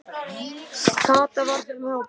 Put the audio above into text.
Kata var í þeim hópi.